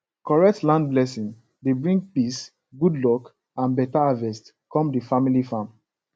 correct land blessing dey bring peace good luck and better harvest come the family farm